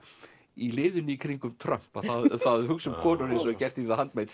í liðinu í kringum Trump það að hugsa um konur eins og er gert í